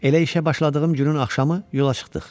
Elə işə başladığım günün axşamı yola çıxdıq.